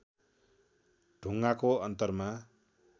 ढुङ्गाको अन्तरमा